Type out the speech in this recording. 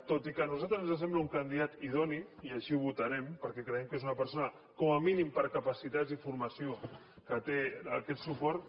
tot i que a nosaltres ens sembla un candidat idoni i així ho votarem perquè creiem que és una persona com a mínim per capacitats i formació que té aquest suport